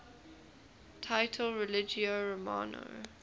title religio romana